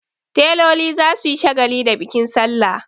Teloli za su yi shagali da bikin salla.